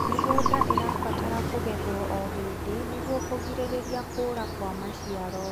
mĩgũnda irabatara kugethwo o hĩndĩ nĩguo kugiririria kuura kwa maciaro